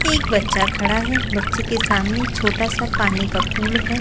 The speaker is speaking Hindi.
एक बच्चा खड़ा है बच्चे के सामने छोटा सा पानी का पूल है।